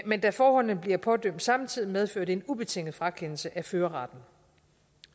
men da forholdene bliver pådømt samtidig medfører det en ubetinget frakendelse af førerretten